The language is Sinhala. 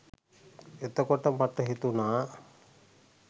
එතකොට මට හිතුනා